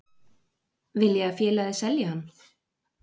Vil ég að félagið selji hann?